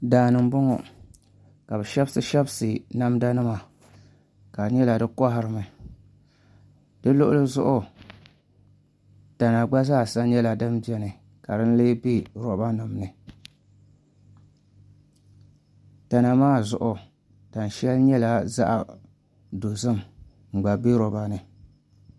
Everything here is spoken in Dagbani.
Daani n bɔŋɔ ka bi shɛbisi shɛbisi namda nima ka di nyɛla di koharimi di luɣuli zuɣu tana gba zaasa nyɛla din biɛni ka din lee bɛ roba nim ni tana maa zuɣu tani shɛli nyɛla zaɣ dozim n gba bɛ roba ni